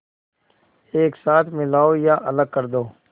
एक साथ मिलाओ या अलग कर दो